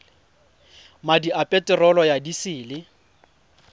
madi a peterolo ya disele